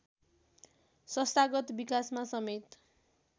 संस्थागत विकासमा समेत